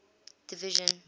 division